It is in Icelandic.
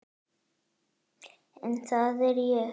En það er ég.